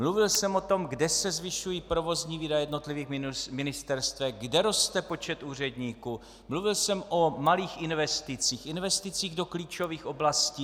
Mluvil jsem o tom, kde se zvyšují provozní výdaje jednotlivých ministerstev, kde roste počet úředníků, mluvil jsem o malých investicích, investicích do klíčových oblastí.